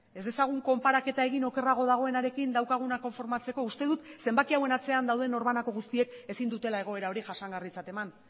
ez dezagun konparaketa egin okerrago dagoenarekin daukaguna konformatzeko uste dut zenbaki hauen atzean dauden norbanako guztiek ezin dutela egoera hori jasangarritzat eman